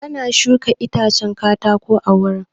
An shuka itacen katako a wurin.